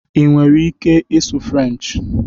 Ị nwere ike ịsụ Frenchị?